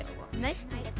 nei